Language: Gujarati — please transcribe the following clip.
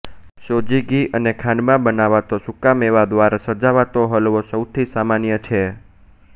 સોજી ઘી અને ખાંડમાં બનાવાતો સૂકા મેવા દ્વારા સજાવાતો હલવો સૌથી સામાન્ય છે